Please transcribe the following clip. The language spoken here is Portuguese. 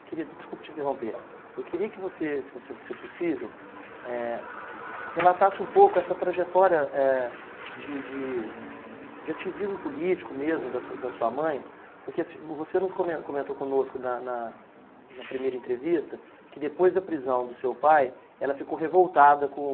Eu queria, desculpa te interromper, eu queria que você, se você fosse possível, eh, relatasse um pouco essa trajetória, eh, de de de ativismo político mesmo da sua da sua mãe, porque você nos comen comentou conosco na na na primeira entrevista que depois da prisão do seu pai, ela ficou revoltada com...